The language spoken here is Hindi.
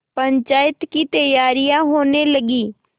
पंचायत की तैयारियाँ होने लगीं